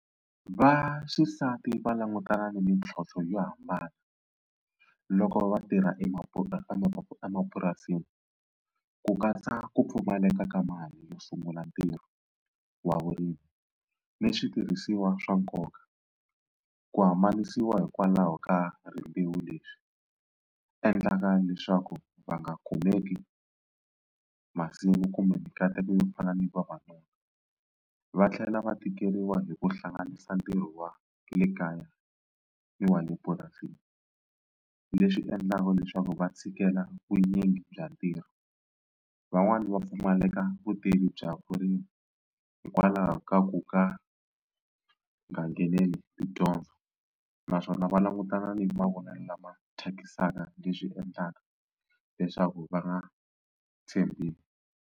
Vaxisati va langutana ni mintlhontlho yo hambana loko vatirha emapurasini ku katsa ku pfumaleka ka mali yo sungula ntirho wa vurimi ni switirhisiwa swa nkoka ku hambanisiwa hikwalaho ka rimbewu leswi endlaka leswaku va nga kumeki masimu kumbe mikateko yo fana ni vavanuna. Va tlhela va tikeriwa hi ku hlanganisa ntirho wa le kaya ni wa le purasini leswi endlaka leswaku va tshikela vunyingi bya ntirho. Van'wani va pfumaleka vutivi bya vurimi hikwalaho ka ku ka nga ngheneleli tidyondzo naswona va langutana ni mavonelo lama thyakisaka leswi endlaka leswaku va nga tshembi.